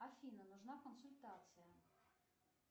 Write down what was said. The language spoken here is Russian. афина нужна консультация